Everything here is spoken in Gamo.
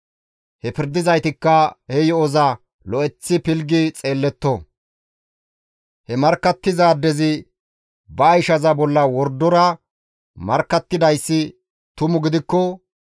He pirdizaytikka he yo7oza lo7eththi pilggi xeelletto; he markkattizaadezi ba ishaza bolla wordora markkattidayssi tumu gidikko,